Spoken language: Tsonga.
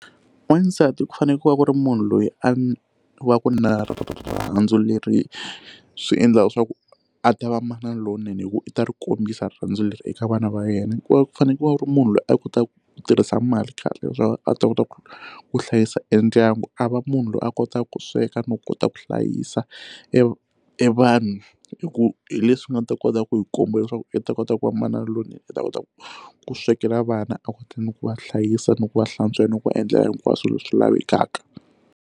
Wasati ku fanekele ku ri munhu loyi a wa ku rirhandzu leri swi endlaka swa ku a ta va manana lonene hikuva u ta ri kombisa rirhandzu leri eka vana va yena ku va ku fanekele ku ri munhu loyi a kotaka ku tirhisa mali kahle leswaku a ta kota ku ku hlayisa endyangu a va munhu loyi a kotaka ku sweka no kota ku hlayisa e e vanhu hi ku hi leswi nga ta kota ku hi komba leswaku i ta kota ku va manana lonene i ta kota ku ku swekela vana a kota ni ku va hlayisa ni ku va hlantswela ni ku endlela hinkwaswo leswi lavekaka.